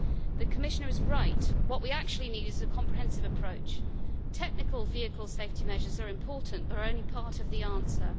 The Commissioner is right what we actually need is a comprehensive approach. Technical vehicle safety measures are important but are only part of the answer.